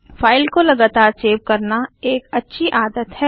file को लगातार save करना एक अच्छी आदत है